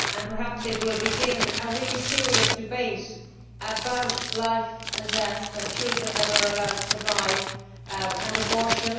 Perhaps it will begin a really serious debate about life and death children that are allowed to survive, and abortion.